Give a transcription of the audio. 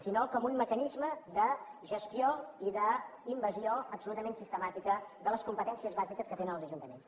sinó com un mecanisme de gestió i d’invasió absolutament sistemàtica de les competències bàsiques que tenen els ajuntaments